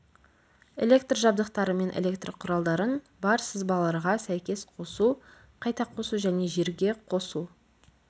электр жабдықтары мен электр құралдарын бар сызбаларға сәйкес қосу қайта қосу және жерге қосу